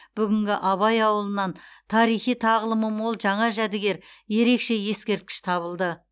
бүгінгі абай ауылынан тарихи тағылымы мол жаңа жәдігер ерекше ескерткіш табылды